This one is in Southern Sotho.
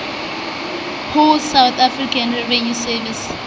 ho south african revenue service